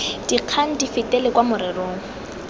dikgang di fetele kwa morerong